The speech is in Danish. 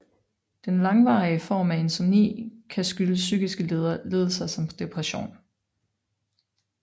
Den langvarige form af insomni kan skyldes psykiske lidelser som depression